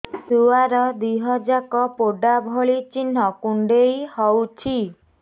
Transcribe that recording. ଛୁଆର ଦିହ ଯାକ ପୋଡା ଭଳି ଚି଼ହ୍ନ କୁଣ୍ଡେଇ ହଉଛି